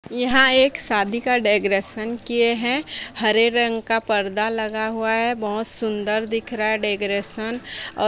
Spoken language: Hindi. यहां एक शादी का डेगरेशन किए हैं हरे रंग का पर्दा लगा हुआ हैं बहोत सुंदर दिख रहा है डेगरेशन और--